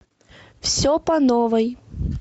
все по новой